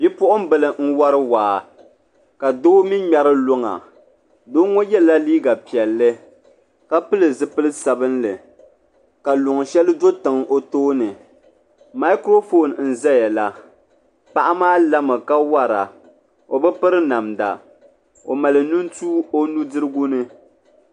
Bipuɣimbila n wari waa ka doo mi ŋmɛri luŋa doo ŋɔ yela liiga piɛlli ka pili zipil sabinli ka luŋa sheli do tiŋa o tooni makuro fooni n zaya la Paɣa maa lami ka wara o bi piri namda o mali nintua o bindirigu ni.